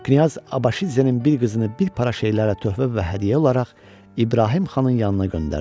Knyaz Abaşidzenin bir qızını bir para şeylərlə töhfə və hədiyyə olaraq İbrahim xanın yanına göndərdi.